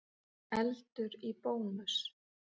Eldur í Bónus